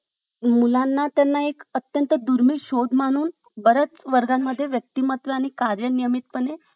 मी जेव्हा अं शिक्षणासाठी अं माझ्या घराबाहेर पडले college च्या college करायसाठी आणि मी माझ्या B pharmacy च्या पुढच्या प्रवासासाठी मी जेव्हा बाहेर पडले तेव्हा उमगले